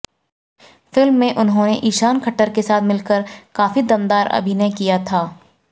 film में उन्होने ईशान खट्टर के साथ मिलकर काफी दमदार अभिनय किया था